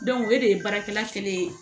o de ye baarakɛla kelen ye